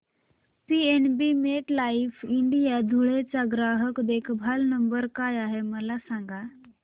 PNB MetLife India Dhule चा ग्राहक देखभाल नंबर काय आहे मला सांगा